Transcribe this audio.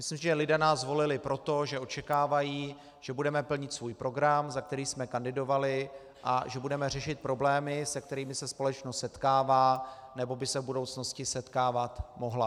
Myslím, že lidé nás volili proto, že očekávají, že budeme plnit svůj program, za který jsme kandidovali, a že budeme řešit problémy, s kterými se společnost setkává nebo by se v budoucnosti setkávat mohla.